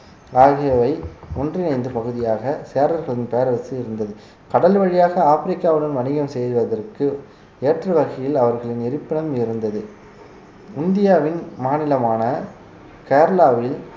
ஆகியவை ஒன்றிணைந்த பகுதியாக சேரர்களின் பேரரசு இருந்தது கடல் வழியாக ஆப்பிரிக்காவுடன் வணிகம் செய்வதற்கு ஏற்றவகையில் அவர்களின் இருப்பிடம் இருந்தது இந்தியாவின் மாநிலமான கேரளாவில்